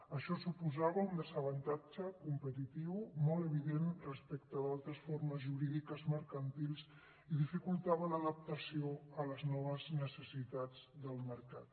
això suposava un desavantatge competitiu molt evident respecte d’altres formes jurídiques mercantils i dificultava l’adaptació a les noves necessitats del mercat